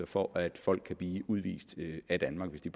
for at folk kan blive udvist af danmark hvis de